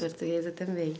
Portuguesa também.